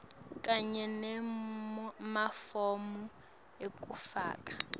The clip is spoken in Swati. kanye nemafomu ekufaka